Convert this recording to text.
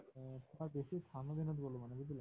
হয়, বেছি ঠাণ্ডা দিনত গলো মানে বুজিলা